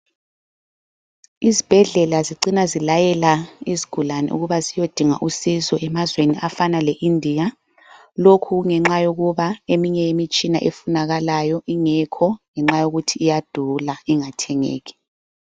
Izibhedlela zicina zilayela izigulane ukubana ziyodinga usizo emazweni afana leIndia lokhu kungenxa yokuba eminye imitshina efunakalayo ingekho ngenxa yokuthi iyadula ingathengeki.